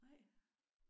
Nej?